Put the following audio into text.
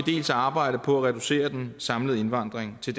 arbejdet på at reducere den samlede indvandring til